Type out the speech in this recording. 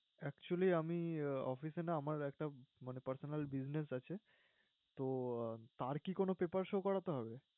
Actually, আমি অফিসে না আমার একটা personal business আছে। তো তার কি paper show করাতে হবে?